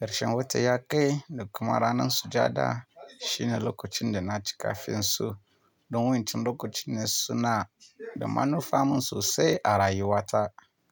karshen wata ya kai da kuma ranar sujada shine lokacin da na ci kafin su don wancan lokacin ne suna da manufa mun sosai a rayuwata.